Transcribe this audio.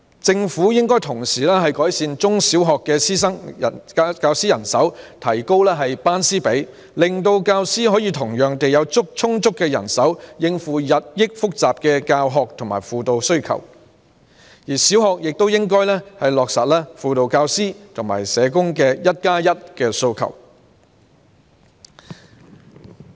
政府應同時改善中小學教師人手，提高班師比例，以便有充足的教師人手，應付日益複雜的教學和輔導需求，而小學亦應落實輔導教師及社工"一加一"的訴求。